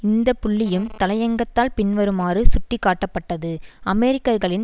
இந்த புள்ளியும் தலையங்கத்தால் பின்வருமாறு சுட்டிக்காட்டப்பட்டது அமெரிக்கர்களின்